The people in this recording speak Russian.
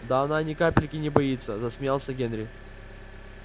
да она ни капельки не боится засмеялся генри